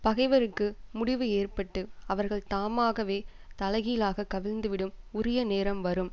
பகைவருக்கு முடிவு ஏற்பட்டு அவர்கள் தாமாகவே தலைகீழாகக் கவிழ்ந்திடும் உரிய நேரம் வரும்